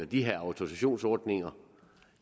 de her autorisationsordninger